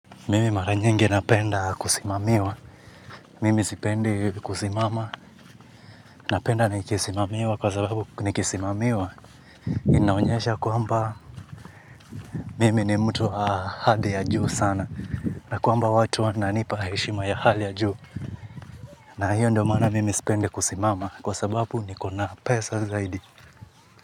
Mimi mara nyingi napenda kusimamiwa, mimi sipendi kusimama, napenda nikisimamiwa kwa sababu nikisimamiwa, inaonyesha kwamba mimi ni mtu wa hadhi ya juu sana, na kwamba watu wananipa heshima ya hali ya juu, na hiyo ndio maana mimi sipendi kusimama kwa sababu niko na pesa zaidi.